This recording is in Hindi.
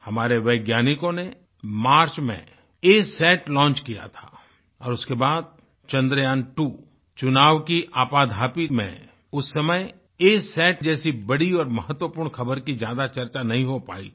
हमारे वैज्ञानिकों ने मार्च मेंअसत लॉन्च किया था और उसके बाद चन्द्रयांत्वो चुनाव की आपाधापी में उस समय असत जैसी बड़ी और महत्वपूर्ण खबर की ज्यादा चर्चा नहीं हो पाई थी